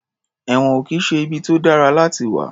Ẹ̀wọ̀n ò kì í ṣe ibi tó dára láti wà.